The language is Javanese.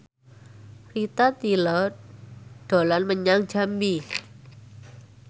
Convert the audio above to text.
Rita Tila dolan menyang Jambi